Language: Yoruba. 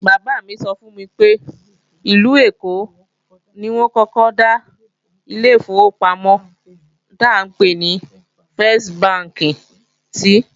Bàbá-àgbà mi sọ fún mi pé ìlú Èkó ni wọ́n kọ́kọ́ dá ilé ìfowópamọ́ tá ńpè ní fẹ́s bánkì sìí